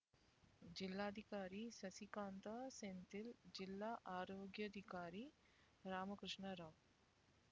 ಜಿಲ್ಲಾಧಿಕಾರಿ ಸಸಿಕಾಂತ್ ಸೆಂಥಿಲ್ ಜಿಲ್ಲಾ ಆರೋಗ್ಯಾಧಿಕಾರಿ ರಾಮಕೃಷ್ಣ ರಾವ್